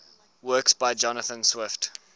works by jonathan swift